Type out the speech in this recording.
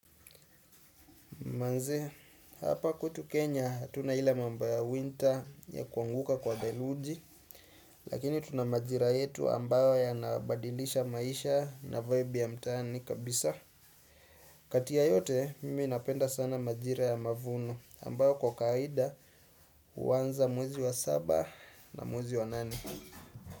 Manze, hapa kwetu Kenya, hatuna ile mambo ya winter ya kuanguka kwa deluji, lakini tuna majira yetu ambayo ya nabadilisha maisha na vibe ya mtanii kabisa. Kati ya yote, mimi napenda sana majira ya mavuno ambayo kwa kaida huanza mwezi wa saba na mwezi wa nane.